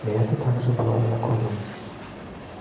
и это также было законом